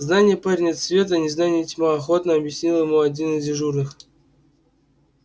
знание парень это свет а незнание тьма охотно объяснил ему один из дежурных